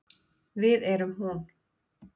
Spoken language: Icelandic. Við erum hún.